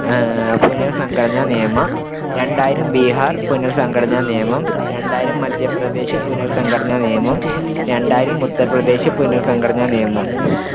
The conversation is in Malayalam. ആഹ് പുനർ‌സംഘടനാനിയമം രണ്ടായിരം ബിഹാർ പുനർ‌സംഘടനാ നിയമം രണ്ടായിരം മദ്ധ്യപ്രദേശ് പുനർ‌സംഘടനാ നിയമം രണ്ടായിരം ഉത്തർപ്രദേശ് പുനർ‌സംഘടനാ നിയമം